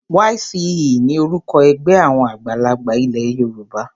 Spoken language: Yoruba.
YCE ni orúkọ ẹgbẹ́ àwọn àgbààgbà ilé Yorùbá.